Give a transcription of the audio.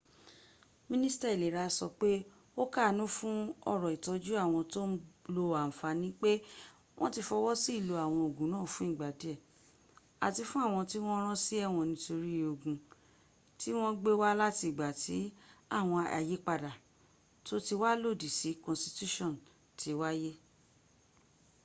minista ilera so pe o kaanu fun oro itoju awon to n lo anfani pe won ti fowo si ilo awon ogun naa fun igba die ati fun awon ti won ran si ewon nitori ogun ti won gbe wa lati igba ti awon ayipada to ti wa lodi si konstitution ti waye